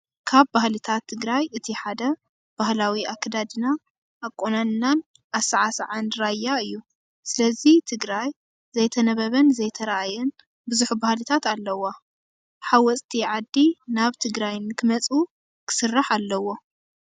ካብ ባህልታት ትግራይ እቲ ሓደ ባህላዊ ኣከዳድና፣ ኣቆናንናን ኣሰዓስዓን ራያ እዩ። ስለዚ ትግራይ ዘይተነበበን ዘይተረኣየን ብዙሕ ባህልታት ኣለዋ። ሓወፅቲ ዓዲ ናብ ትግራይ ንክመፅኡ ክስራሕ ኣለዎ።